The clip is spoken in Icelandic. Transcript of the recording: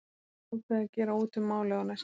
Var þá ákveðið að gera út um málið á næsta fundi.